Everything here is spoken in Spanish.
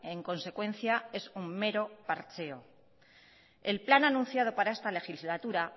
en consecuencia es un mero parcheo el plan anunciado para esta legislatura